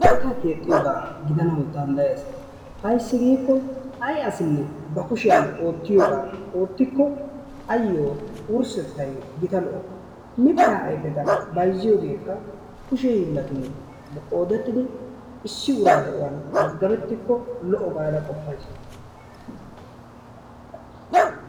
Keettaa keexxiyoba gidanawu danddayees. Ayssi giikko ay asinne ba kushiyan oottiyoba oottiko ayo wurssettay gita lo''o. Mitta ayfeta bayzziyogekka kushe hiilatun qoodettidi issi ura de'uwan maddabettikko lo''o gaada qoppays.